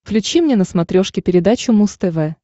включи мне на смотрешке передачу муз тв